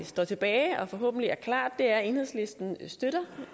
står tilbage og forhåbentlig er klart er at enhedslisten støtter